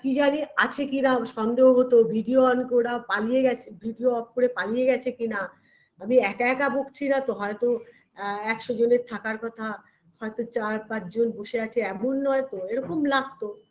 কি জানি আছে কিনা সন্দেহ হতো video on করা পালিয়ে গেছে video off করে পালিয়ে গেছে কিনা বা আমি একা একা বকছি না তো হয়তো একশো জনের থাকার কথা হয়তো চার-পাঁচজন বসে আছে এমন নয় তো এরকম লাগতো